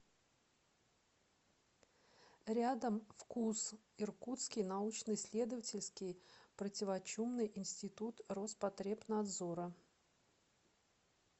рядом фкуз иркутский научно исследовательский противочумный институт роспотребнадзора